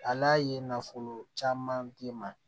Ala ye nafolo caman di ma